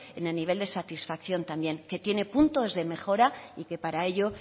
en el nivel de satisfacción también que tiene puntos de mejora y que para ello